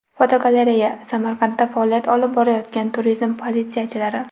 Fotogalereya: Samarqandda faoliyat olib borayotgan turizm politsiyachilari.